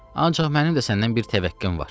Ancaq mənim də səndən bir təvəqqəm var.